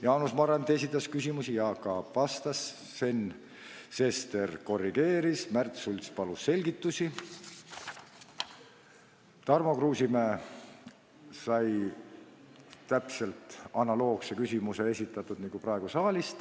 Jaanus Marrandi esitas küsimusi, Jaak Aab vastas, Sven Sester korrigeeris, Märt Sults palus selgitusi, Tarmo Kruusimäe sai esitatud täpselt analoogse küsimuse nagu praegu saalis.